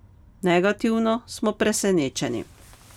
Negativno smo presenečeni.